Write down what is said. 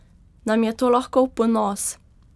Nam je to lahko v ponos?